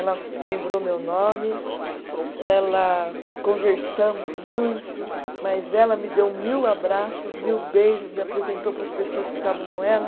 Ela lembrou meu nome, ela conversamos muito, mas ela me deu mil abraços, mil beijos, me apresentou para as pessoas que estavam com ela.